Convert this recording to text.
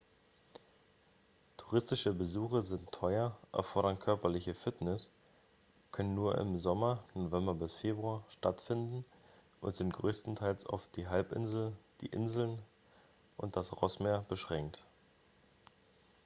touristische besuche sind teuer erfordern körperliche fitness können nur im sommer nov–feb stattfinden und sind größtenteils auf die halbinsel die inseln und das rossmeer beschränkt